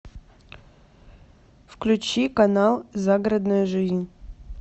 включи канал загородная жизнь